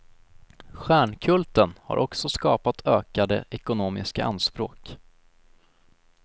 Stjärnkulten har också skapat ökade ekonomiska anspråk.